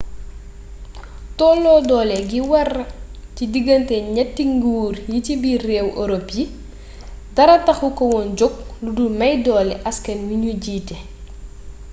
tolloo doole gi wara ci diggante ñatti nguur yi ci biiru réewi europe yi dara taxu ko woon jog ludul may doole askan wi ñu jiite